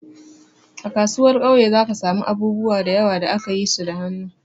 A kasuwar kauye za ka samu abubuwa da yawa da aka yi su da hannu.